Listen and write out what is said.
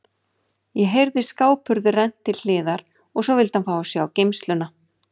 Ég heyrði skáphurð rennt til hliðar og svo vildi hann fá að sjá geymsluna.